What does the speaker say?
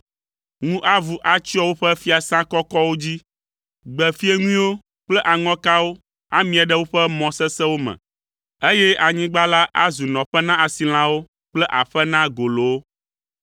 Ŋu avu atsyɔ woƒe fiasã kɔkɔwo dzi, gbe fieŋuiwo kple aŋɔkawo amie ɖe woƒe mɔ sesẽwo me, eye anyigba la azu nɔƒe na asilãwo kple aƒe na golowo.